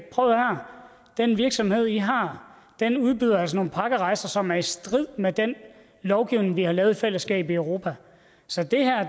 prøv at høre den virksomhed i har udbyder altså nogle pakkerejser som er i strid med den lovgivning vi har lavet i fællesskab i europa så